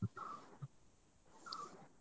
.